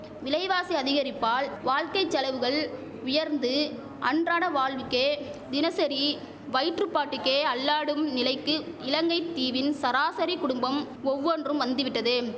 விலைவாசி அதிகரிப்பால் வாழ்க்கை செலவுகள் உயர்ந்து அன்றாட வாழ்வுக்கே தினசரி வயிற்றுபாட்டுக்கே அல்லாடும் நிலைக்கு இலங்கை தீவின் சராசரி குடும்பம் ஒவ்வொன்றும் வந்துவிட்டது